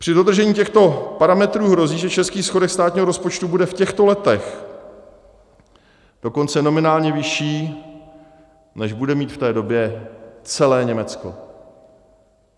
Při dodržení těchto parametrů hrozí, že český schodek státního rozpočtu bude v těchto letech dokonce nominálně vyšší, než bude mít v té době celé Německo.